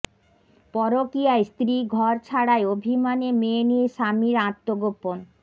পরকীয়ায় স্ত্রী ঘর ছাড়ায় অভিমানে মেয়ে নিয়ে স্বামীর আত্মগোপন